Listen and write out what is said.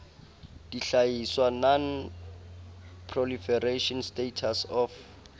dihlahiswa non proliferation status of